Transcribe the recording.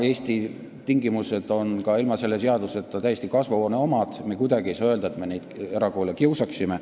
Eesti tingimused on ka ilma selle seaduseta täiesti kasvuhoone omad, me ei saa kuidagi öelda, nagu me erakoole kiusaksime.